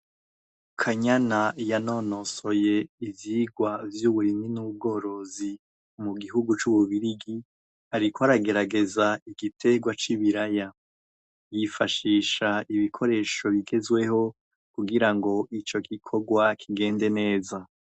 kanyana yanonosoye ivyigwa vy'uburimyi n'ubworozi mu gihugu c'ububirigi ariko aragerageza igitegwa c'ibiraya yifashisha ibikoresho bigezweho kugira ngo ico gikogwa kigende neza